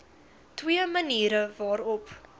twee maniere waarop